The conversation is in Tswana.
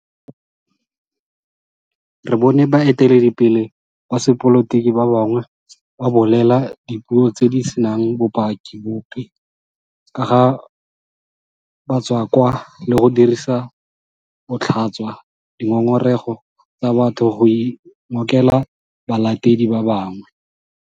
Re bone baeteledipele ba sepolotiki ba bangwe ba bolela dipuo tse di senang bopaki bope ka ga batswakwa le go dirisa botlhaswa dingongorego tsa batho go ingokela balatedi ba bangwe.